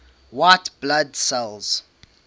white blood cells